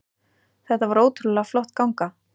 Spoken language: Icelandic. Þetta var ótrúlega flott ganga